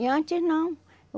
E antes não.